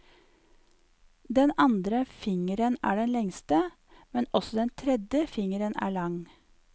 Den andre fingeren er den lengste, men også den tredje fingeren er lang.